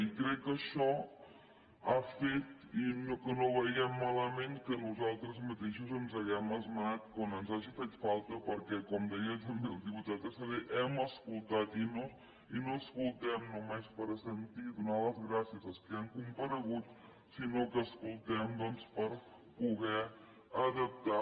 i crec que això ha fet que no vegem malament que nosaltres mateixos ens hàgim esmenat quan ens hagi fet falta perquè com deia també el diputat estradé hem escoltat i no escoltem només per assentir i donar les gràcies als que han comparegut sinó que escoltem doncs per poder adaptar